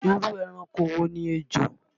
Irú ẹranko wo ni ejò?